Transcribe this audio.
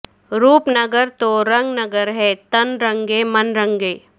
روپ نگر تو رنگ نگر ہے تن رنگے من رنگے